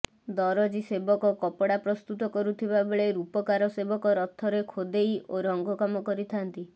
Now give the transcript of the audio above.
ଦରଜୀ ସେବକ କପଡ଼ା ପ୍ରସ୍ତୁତ କରୁଥିବା ବେଳେ ରୂପକାର ସେବକ ରଥରେ ଖୋଦେଇ ଓ ରଙ୍ଗକାମ କରିଥାଆନ୍ତି